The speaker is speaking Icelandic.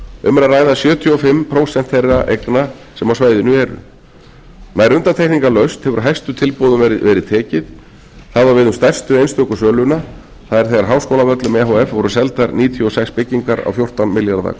um er að ræða sjötíu og fimm prósent þeirra eigna sem á svæðinu eru nær undantekningarlaust hefur hæstu tilboðum verið tekið það á við um stærstu einstöku söluna það er þegar háskólavöllum e h f voru seldar níutíu og sex byggingar á fjórtán milljarða